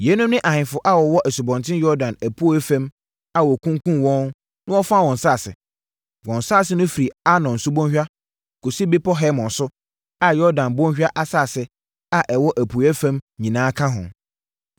Yeinom ne ahemfo a wɔwɔ Asubɔnten Yordan apueeɛ fam a wɔkunkumm wɔn na wɔfaa wɔn nsase. Wɔn nsase no firi Arnon Subɔnhwa kɔsi Bepɔ Hermon so a Yordan Bɔnhwa asase a ɛwɔ apueeɛ fam nyinaa ka ho.